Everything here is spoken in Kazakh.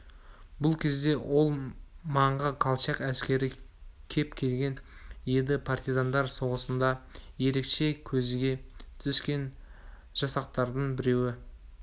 бұл кезде ол маңға колчак әскері кеп келген еді партизандар соғысында ерекше көзге түскен жасақтардың біреуі